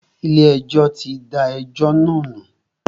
Ilé ẹjọ́ tí da ẹjọ́ náà nù.